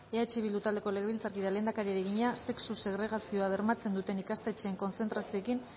eh bildu taldeko legebiltzarkideak lehendakariari egina sexu segregazioa bermatzen duten ikastetxeen kontzertazioekin